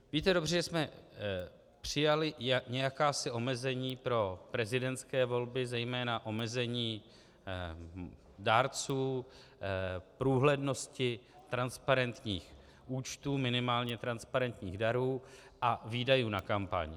Víte dobře, že jsme přijali jakási omezení pro prezidentské volby, zejména omezení dárců, průhlednosti transparentních účtů, minimálně transparentních darů a výdajů na kampaň.